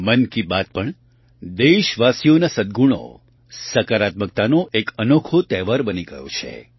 મન કી બાત પણ દેશવાસીઓના સદ્ગુણો સકારાત્મકતાનો એક અનોખો તહેવાર બની ગયો છે